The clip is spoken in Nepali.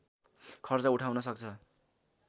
खर्च उठाउन सक्छ